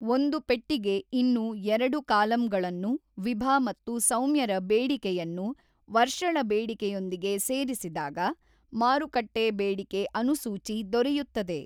ಒಂದು ಪಟ್ಟಿಗೆ ಇನ್ನು ಎರಡು ಕಾಲಂಗಳನ್ನು ವಿಭ ಮತ್ತು ಸೌಮ್ಯರ ಬೇಡಿಕೆಯನ್ನು ವರ್ಷಳ ಬೇಡಿಕೆಯೊಂದಿಗೆ ಸೇರಿಸಿದಾಗ ಮಾರುಕಟ್ಟೆ ಬೇಡಿಕೆ ಅನುಸೂಚಿ ದೊರೆಯುತ್ತದೆ.